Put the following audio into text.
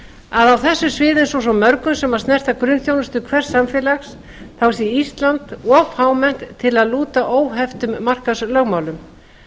að á þessu sviði eins og svo mörgum sem snerta grunnþjónustu hvers samfélags sé ísland of fámennt til að lúta óheftum markaðslögmálum